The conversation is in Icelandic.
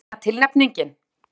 Var þetta eina tilnefningin?